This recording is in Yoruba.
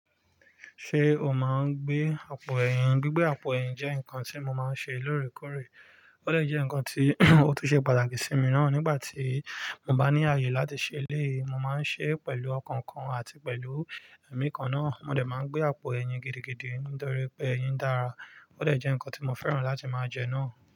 Ṣé o máa ń gbé àpò ẹ̀yìn? Gbigbe àpò ẹ̀yìn jẹ́ nǹkan tí mo máa ń ṣe lóòrèkóòrè. Ó de jẹ́ nǹkan tí ó tún ṣe pàtàkì sí mi náà nígbà tí mo bá ní ààyè láti ṣe éleyi. Mo máa ń ṣe é pẹ̀lú ọkàn kan àti pẹ̀lú ẹ̀mí kan náà. Mò de máa ń gbé àpò ẹ̀yìn gidigidi nítorí pé ẹ̀yìn dára. Ó de jẹ́ nǹkan tí mo fẹ́ràn láti máa jẹ náà.